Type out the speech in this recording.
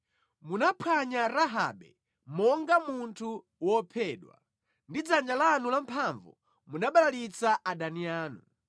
Munaphwanya Rahabe monga munthu wophedwa; ndi dzanja lanu lamphamvu munabalalitsa adani anu.